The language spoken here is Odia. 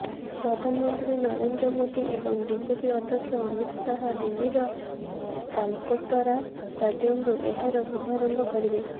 ପ୍ରଧାନମନ୍ତ୍ରୀ ନରେନ୍ଦ୍ର ମୋଦୀ ଏବଂ ବିଜେପି ଅଧ୍ୟକ୍ଷ ଅମିତ ଶାହା ଦିଲ୍ଲୀର ତାଲକଟୋରା ଷ୍ଟାଡ଼ିୟମରୁ ଏହାର ଶୁଭାରମ୍ଭ କରିବେ